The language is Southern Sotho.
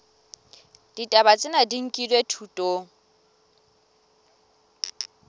ditaba tsena di nkilwe thutong